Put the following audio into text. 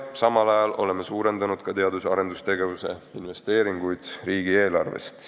Samal ajal oleme suurendanud ka teadus- ja arendustegevuse investeeringuid riigieelarvest.